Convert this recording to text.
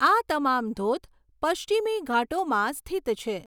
આ તમામ ધોધ પશ્ચિમી ઘાટોમાં સ્થિત છે.